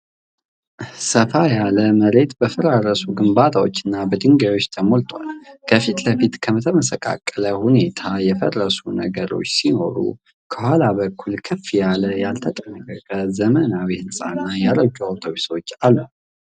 ሰፋ ያለ መሬት በፈራረሱ ግንባታዎችና በድንጋዮች ተሞልቷል። ከፊት ለፊት በተመሰቃቀለ ሁኔታ የፈረሱ ነገሮች ሲኖሩ፣ ከኋላ በኩል ከፍ ያለ ያልተጠናቀቀ ዘመናዊ ሕንፃ እና ያረጁ አውቶቡሶች አሉ።